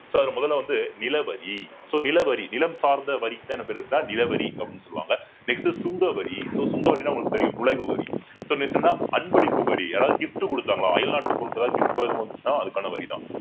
so அதுல முதல்ல வந்து நிலவரி so நிலவரி நிலம் சார்ந்த வரிக்கு தான் என்ன பேருன்னா நிலவரி அப்பிடின்னு சொல்லுவாங்க next சுங்கவரி so சுங்கவரின்னா உங்களுக்கு தெரியும் நுழைவு வரி அன்பளிப்பு வரி யாராவது gift கொடுத்தாங்களா அயல்நாட்டுப் பொருட்கள் ஏதாவது gift எதுவும் வந்துச்சுன்னா அதுக்கான வரிதான்